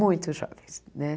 Muito jovens né.